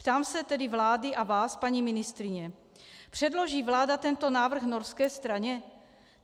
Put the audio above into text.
Ptám se tedy vlády a vás, paní ministryně: Předloží vláda tento návrh norské straně?